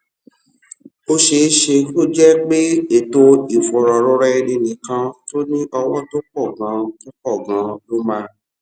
ó ṣeé ṣe kó jé pé ètò ìfòròroraẹninìkan tó ní owó tó pò ganan tó pò ganan ló máa